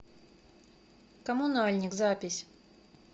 коммунальник запись